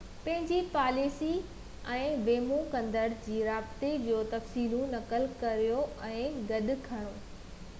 پنهنجي پاليس ۽ ويمو ڪندڙ جي رابطي جو تفصيلون نقل ڪريو ۽ گڏ کڻو